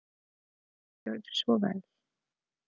Gjörðu svo vel.